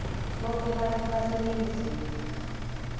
bonkhe bantfu baseningizimu